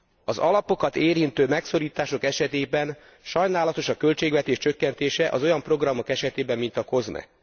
Az alapokat érintő megszorítások esetében sajnálatos a költségvetés csökkentése az olyan programok esetében, mint a COSME.